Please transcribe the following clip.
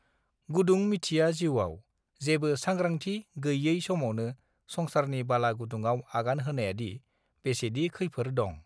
गुदुं मिथिया जीउवाव जेबो सांग्रांथि गैयाय समावनो संसारनि बाला गुदुंआव आगान होनायादि बेसेदि खैफोर दं